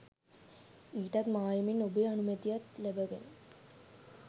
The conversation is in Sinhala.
ඊටත් මායමින් ඔබේ අනුමැතියත් ලැබගෙන